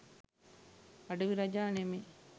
අඩවි රජා නෙමෙයි